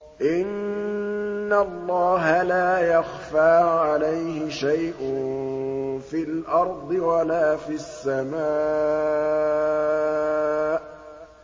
إِنَّ اللَّهَ لَا يَخْفَىٰ عَلَيْهِ شَيْءٌ فِي الْأَرْضِ وَلَا فِي السَّمَاءِ